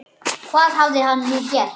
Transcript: Hvað hafði hann nú gert?